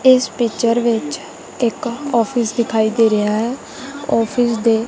ਇਸ ਪਿਚਰ ਵਿੱਚ ਇੱਕ ਆਫਿਸ ਦਿਖਾਈ ਦੇ ਰਿਹਾ ਹੈ ਆਫਿਸ ਦੇ--